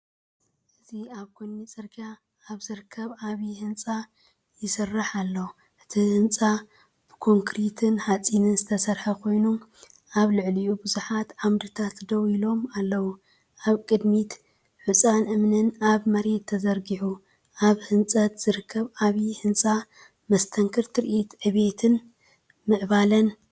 እዚ ኣብ ጎኒ ጽርግያ ኣብ ዝርከብ ዓቢ ህንጻ ይስራሕ ኣሎ። እቲ ህንጻ ብኮንክሪትን ሓጺንን ዝተሰርሐ ኮይኑ፡ኣብ ልዕሊኡ ብዙሓት ዓምድታት ደው ኢሎም ኣለዉ። ኣብ ቅድሚት ሑጻን እምንን ኣብ መሬት ተዘርጊሑ፡ኣብ ህንጸት ዝርከብ ዓቢ ህንጻ፡ መስተንክር ትርኢት ዕብየትን ምዕባለን።